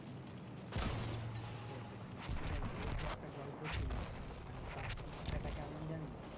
সেটাই সেটার মানে কি বলতো ওই যে একটা গল্প ছিল মানে তার শিক্ষাটা কেমন জানিস